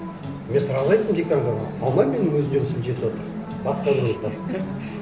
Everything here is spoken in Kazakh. мен сразу айттым деканға алмаймын мен өзімнің жұмысым жетіватыр басқа